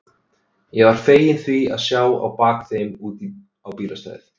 Ég var feginn því að sjá á bak þeim út á bílastæðið.